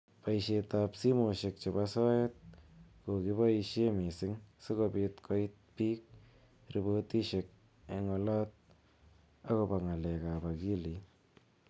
Boishet ab simoshek chebo soet kokiboishe mising sikobit koit bik repotishek eng olot akobo ng'alek ab akilit.